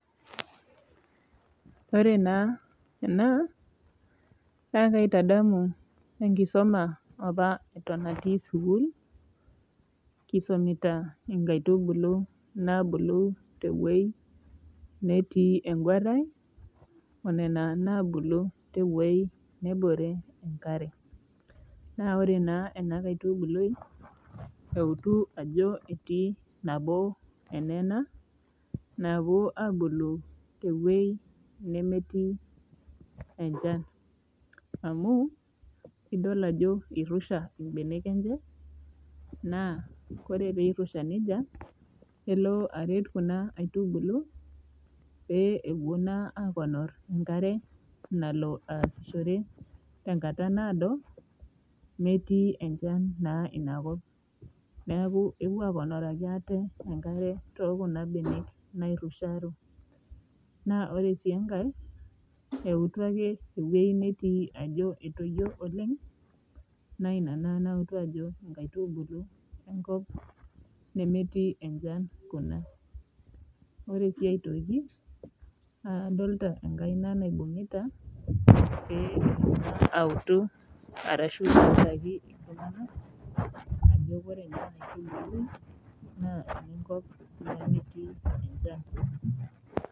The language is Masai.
Ore naa ena naa kaitadamu enkisuma apa eton atii sukuul kisumita inkaitubulu naabulu tewueji netii enguarai onena naabulu tewueji nebore enkare naa ore taa ena kaitubului eutu ajo etii nabo enena naapuo abulu tewueji nemetii enchan, amuu idol ajo eirusha ibenek enye naa ore pee eirusha nejia naa kelo aret kuna aitubulu pee epuo naa aponaa eing'oru enkare nalo aasishore tenkata naado metii enchan naa inakop neaku epuo aponiki ate enkare te kuna benek naa ore siii enkae naa eutu ake ewuji netii ajo etoyio oleng naa ina naa nautu ajo ikaitubulu ewueji nemetii enchan kuna ore sii aitoki, adolita enkaina naibung'ita pee eutu arashu elimu ajo enemetii enchan